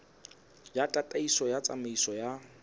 ya tataiso ya tsamaiso ya